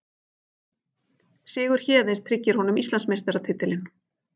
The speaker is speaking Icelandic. Sigur Héðins tryggir honum Íslandsmeistaratitilinn